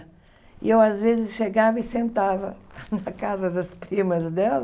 E eu, às vezes, chegava e sentava na casa das primas dela.